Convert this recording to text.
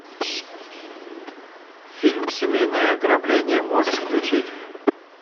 фильм семейное ограбление можешь включить